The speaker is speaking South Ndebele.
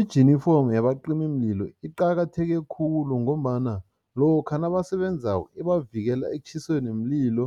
Ijinifomu yabacimimlilo iqakatheke khulu ngombana lokha nabasebenzako, ibavikela ekutjhiseni mlilo